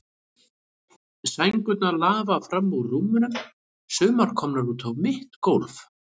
Sængurnar lafa fram úr rúmunum, sumar komnar út á mitt gólf.